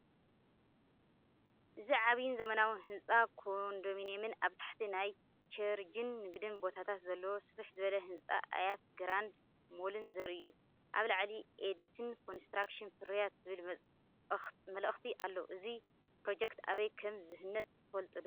እዚ ዓቢን ዘመናዊን ህንጻ ኮንዶሚንየምን ኣብ ታሕቲ ናይ ቸርችን ንግድን ቦታታት ዘለዎ ስፍሕ ዝበለ ህንጻ ኣያት ግራንድ ሞልን ዘርኢ እዩ። ኣብ ላዕሊ "ኤድት ኮንስትራክሽን ፍርያት" ዝብል መልእኽቲ ኣሎ። እዚ ፕሮጀክት ኣበይ ከም ዝህነጽ ትፈልጡ ዶ?